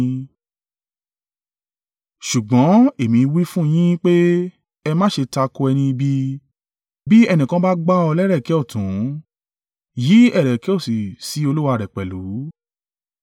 Ṣùgbọ́n èmi wí fún yín pé, ẹ má ṣe tako ẹni ibi. Bí ẹnìkan bá gbá ọ lẹ́rẹ̀kẹ́ ọ̀tún, yí ẹ̀rẹ̀kẹ́ òsì sí olúwa rẹ̀ pẹ̀lú.